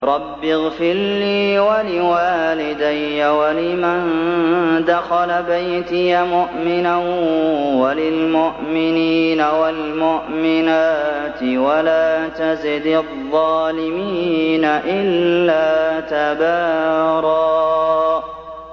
رَّبِّ اغْفِرْ لِي وَلِوَالِدَيَّ وَلِمَن دَخَلَ بَيْتِيَ مُؤْمِنًا وَلِلْمُؤْمِنِينَ وَالْمُؤْمِنَاتِ وَلَا تَزِدِ الظَّالِمِينَ إِلَّا تَبَارًا